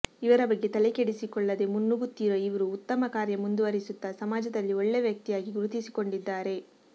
ಇವರ ಬಗ್ಗೆ ತಲೆ ಕೆಡಿಸಿಕೊಳ್ಳದೇ ಮುನ್ನುಗ್ಗುತ್ತಿರುವ ಇವ್ರು ಉತ್ತಮ ಕಾರ್ಯ ಮುಂದುವರೆಸುತ್ತಾ ಸಮಾಜದಲ್ಲಿ ಒಳ್ಳೆ ವ್ತಕ್ತಿಯಾಗಿ ಗುರುತಿಸಿಕೊಂಡಿದ್ದಾರೆ